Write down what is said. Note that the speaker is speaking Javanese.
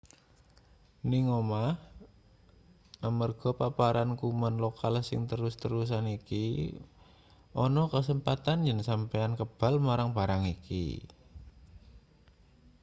ning omah amarga paparan kuman lokal sing terus-terusan iki ana kasempatan yen sampeyan kebal marang barang iki